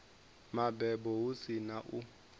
mabebo hu si na u